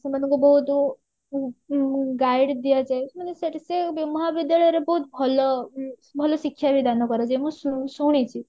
ସେମାନଙ୍କୁ ବହୁତ ଉଁ ଉଁ guide ଦିଆଯାଏ ମାନେ ସେଠି ସେ ମହାବିଦ୍ୟାଳୟ ରେ ବହୁତ ଭଲ ଭଲ ଶିକ୍ଷା ବି ଦାନ କରାଯାଏ ମୁଁ ଶୁଣିଛି